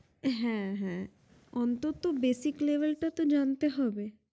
হ্যা হ্যা অন্তত basic level টা তো জানতে হবে